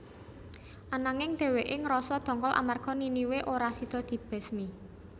Ananging dhèwèké ngrasa ndongkol amarga Niniwe ora sida dibesmi